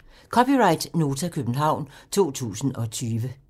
(c) Nota, København 2020